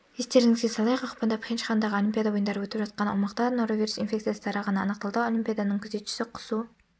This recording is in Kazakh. естеріңізге салайық ақпанда пхенчхандағы олимпиада ойындары өтіп жатқан аумақта норовирус инфекциясы тарағаны анықталды олимпиаданың күзетшісі құсу